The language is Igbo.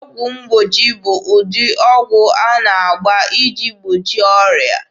Ọgwụ mgbochi bụ ụdị ọgwụ a na-agba iji gbochie ọrịa.